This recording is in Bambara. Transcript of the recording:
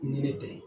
Ni ne bɛ